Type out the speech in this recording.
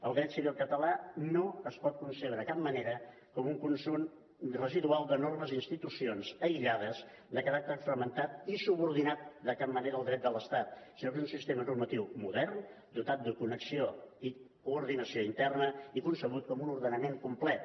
el dret civil català no es pot concebre de cap manera com un conjunt residual de normes i institucions aïllades de caràcter fragmentat i subordinat de cap manera al dret de l’estat sinó que és un sistema normatiu modern dotat de connexió i coordinació interna i concebut com un ordenament complet